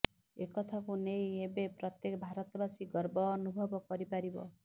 ଏକଥାକୁ ନେଇ ଏବେ ପ୍ରତ୍ୟେକ ଭାରତବାସୀ ଗର୍ବ ଅନୁଭବ କରିପାରିବ